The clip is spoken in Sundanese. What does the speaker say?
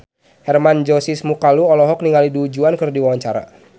Hermann Josis Mokalu olohok ningali Du Juan keur diwawancara